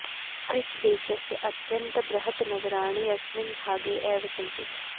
Swiss देशस्य अत्यन्त बृहत् नगराणि अस्मिन् भागे एव सन्ति